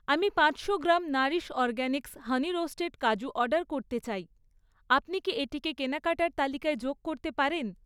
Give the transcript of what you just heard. আমি পাঁচশো গ্রাম নারিশ অরগ্যানিক্স হানি রোস্টেড কাজু অর্ডার করতে চাই, আপনি কি এটিকে কেনাকাটার তালিকায় যোগ করতে পারেন?